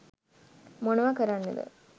මොනවා කරන්නද?.